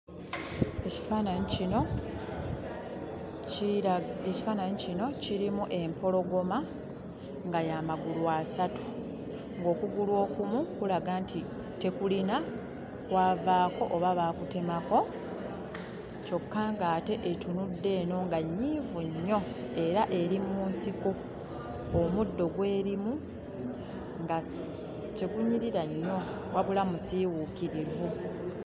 Ekifaananyi kino kira, ekifaananyi kino kirimu empologoma nga y'amagulu asatu ng'okugulu okumu kulaga nti tekulina kwavaako oba baakutemako, kyokka nga ate etunudde eno nga nnyiivu nnyo era eri mu nsiko omuddo gw'erimu nga tegunyirira nnyo wabula musiiwuukirivu.